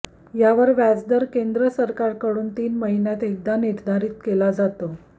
यावर व्याजदर केंद्र सरकारकडून तीन महिन्यातून एकदा निर्धारित केला जातो